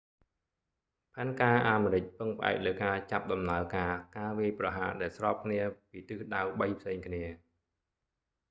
ផែនការអាមេរិកពឹងផ្អែកលើការចាប់ដំណើរការការវាយប្រហារដែលស្របគ្នាពីទិសដៅបីផ្សេងគ្នា